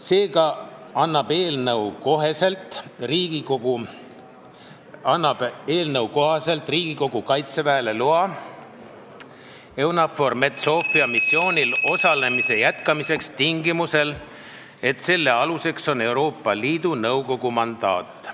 Seega annab Riigikogu eelnõu kohaselt Kaitseväele loa EUNAVFOR Med/Sophia missioonil osalemise jätkamiseks tingimusel, et selle aluseks on Euroopa Liidu Nõukogu mandaat.